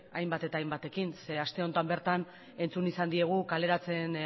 hainbat eta hainbatekin zeen aste honetan bertan entzun izan diegu kaleratzen